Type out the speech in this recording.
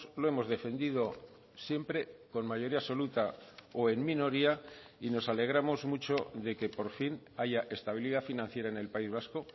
lo hemos defendido siempre con mayoría absoluta o en minoría y nos alegramos mucho de que por fin haya estabilidad financiera en el país vasco